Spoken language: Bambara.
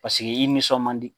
Paseke i nisɔn man di.